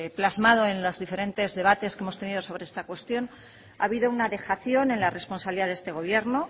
plasmado en los diferentes debates que hemos tenido sobre esta cuestión ha habido una dejación en la responsabilidad de este gobierno